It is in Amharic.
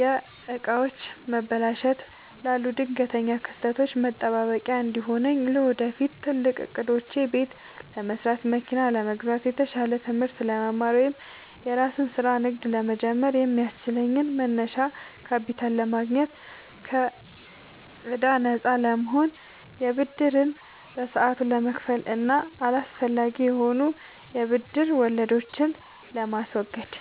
የዕቃዎች መበላሸት ላሉ ድንገተኛ ክስተቶች መጠባበቂያ እንዲሆነኝ። ለወደፊት ትልቅ ዕቅዶቼ፦ ቤት ለመስራት፣ መኪና ለመግዛት፣ የተሻለ ትምህርት ለመማር ወይም የራስን ስራ/ንግድ ለመጀመር የሚያስችለኝን መነሻ ካፒታል ለማግኘት። ከከዕዳ ነፃ ለመሆን፦ ብድርን በሰዓቱ ለመክፈል እና አላስፈላጊ የሆኑ የብድር ወለዶችን ለማስወገድ።